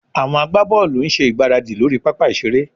Àwọn agbábọ́ọ̀lù ń ṣe ìgbáradì lórí pápá ìṣeré